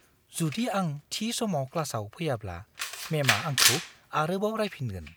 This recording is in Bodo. जुदि आं थि समाव क्लासाव फैयाब्ला मेमा आंखौ आरोबाव रायफिनगोन।